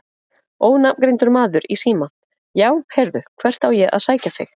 Ónafngreindur maður í síma: Já heyrðu hvert á ég að sækja þig?